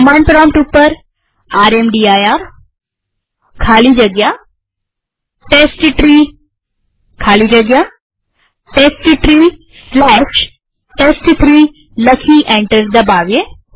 command prompt ઉપર રામદીર ખાલી જગ્યા ટેસ્ટટ્રી ખાલી જગ્યા testtreeટેસ્ટ3 લખી એન્ટર દબાવીએ